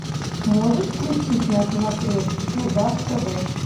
можешь включить на смотрешке казах тв